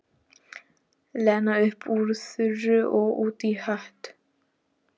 Lena upp úr þurru og út í hött.